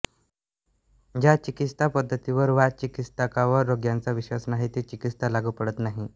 ज्या चिकित्सापद्धतीवर वा चिकित्सकावर रोग्याचा विश्वास नाही ती चिकित्सा लागू पडत नाही